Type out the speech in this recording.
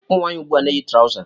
Ụmụnwanyị ugbua na- eyi trauzer